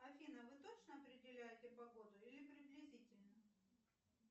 афина а вы точно определяете погоду или приблизительно